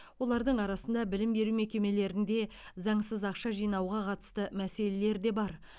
олардың арасында білім беру мекемелерінде заңсыз ақша жинауға қатысты мәселелер де бар